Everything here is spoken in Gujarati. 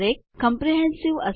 ઓટોકરેક્ટ આપમેળે સુધારા કરતા